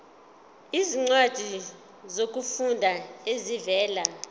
izincwadi zokufunda ezivela